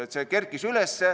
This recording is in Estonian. See vaid kerkis üles.